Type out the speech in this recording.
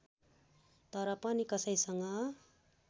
तर पनि कसैसँग